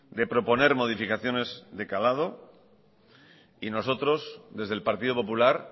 de proponer modificaciones de calado y nosotros desde el partido popular